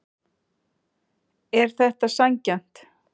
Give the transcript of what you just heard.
Er þetta sanngjarnt